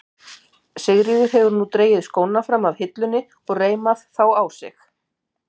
Sigríður hefur nú dregið skónna fram af hillunni og reimað þá á sig.